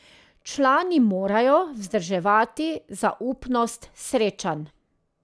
Člani morajo vzdrževati zaupnost srečanj.